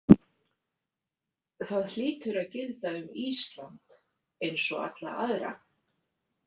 Það hlýtur að gilda um Ísland eins og alla aðra.